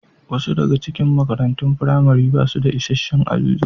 Wasu daga cikin makarantun firamare ba su da isassun ajujuwa.